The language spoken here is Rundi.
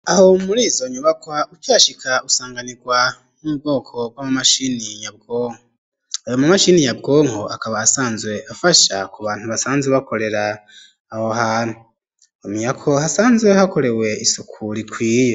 Aho murizo nyubakwa ukihashika usanganirwa n'ubwoko bw'amamashini nyabwonko. Ayo mamashini nyabwonko akaba asanzwe afasha ku bantu basanzwe bakorera aho hantu. Mwomenya ko hasanzwe hakorewe isuku rikwiye.